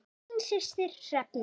Þín systir Hrefna.